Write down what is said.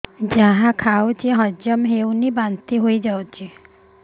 ଯାହା ଖାଉଛି କିଛି ହଜମ ହେଉନି ବାନ୍ତି ହୋଇଯାଉଛି